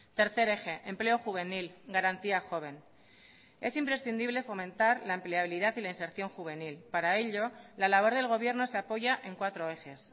tercer eje empleo juvenil garantía joven es imprescindible fomentar la empleabilidad y la inserción juvenil para ello la labor del gobierno se apoya en cuatro ejes